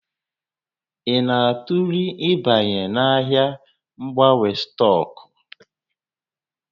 Ị na-atụle ịbanye n'ahịa mgbanwe stọọkụ?